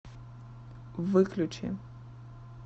выключи